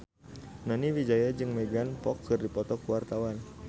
Nani Wijaya jeung Megan Fox keur dipoto ku wartawan